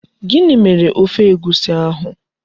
Gini mere Ofe Egwusi ahu?